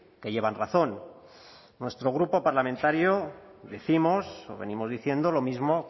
que llevan razón nuestro grupo parlamentario décimos o venimos diciendo lo mismo